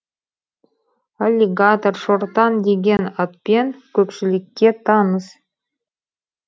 аллигатор шортан деген атпен көпшілікке таныс